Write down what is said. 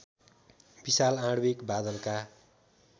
विशाल आणविक बादलका